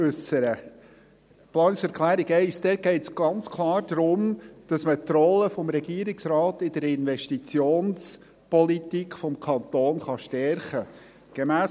Bei der Planungserklärung 1 geht es ganz klar darum, dass man die Rolle des Regierungsrates in der Investitionspolitik des Kantons stärken kann.